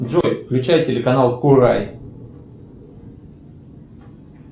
джой включай телеканал курай